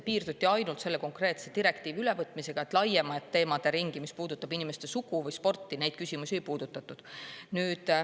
Piirduti ainult selle konkreetse direktiivi ülevõtmisega, laiemat teemaderingi, mis puudutab inimeste sugu või sporti, küsimustes ei puudutatud.